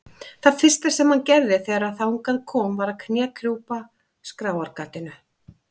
Það fyrsta sem hann gerði þegar þangað kom var að knékrjúpa skráargatinu.